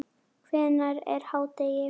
Hvenær er hádegi?